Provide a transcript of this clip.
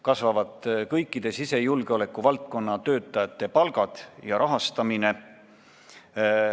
Kasvavad kõikide sisejulgeoleku valdkonna töötajate palgad ja valdkonna rahastamine.